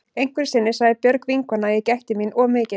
Einhverju sinni sagði Björg vinkona að ég gætti mín of mikið.